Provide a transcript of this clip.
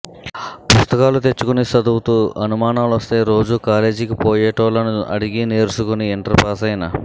పుస్తకాలు తెచ్చుకొని సదువుతూ అనుమానాలొస్తే రోజు కాలేజికి పోయేటోల్లను అడిగి నేర్సుకుని ఇంటర్ పాసైన